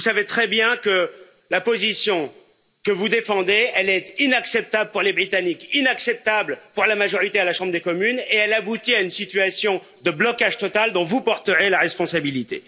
Vous savez très bien que la position que vous défendez est inacceptable pour les Britanniques, inacceptable pour la majorité à la Chambre des communes, et qu'elle aboutit à une situation de blocage total dont vous porterez la responsabilité.